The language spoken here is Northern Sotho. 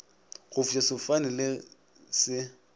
go fofiša sefofane se le